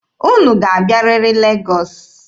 Unu ga-abịarịrị Legọọsị!